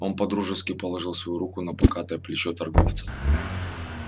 он по-дружески положил свою руку на покатое плечо торговца